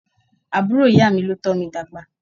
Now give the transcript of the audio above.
Àbúrò ìyá mi ló tómi dàgbà.